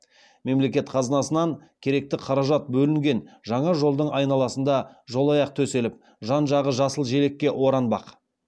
мемлекет қазынасынан керекті қаражат бөлінген жаңа жолдың айналасына жолаяқ төселіп жан жағы жасыл желекке оранбақ